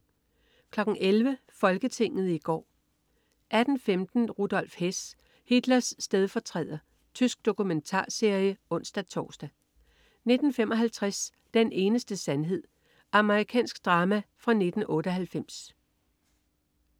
11.00 Folketinget i går 18.15 Rudolf Hess. Hitlers stedfortræder. Tysk dokumentarserie (ons-tors) 19.55 Den eneste sandhed. Amerikansk drama fra 1998